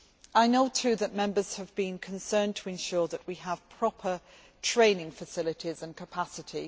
I know, too, that Members have been concerned to ensure that we have proper training facilities and capacity.